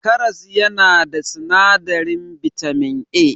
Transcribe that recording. Karas yana da sinadarin bitamin A.